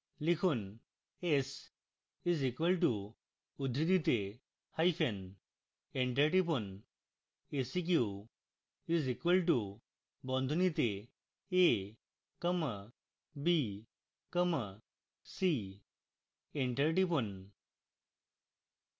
লিখুন s is equal to উদ্ধৃতিতে hyphen enter টিপুন seq is equal to বন্ধনীতে a comma b comma c enter টিপুন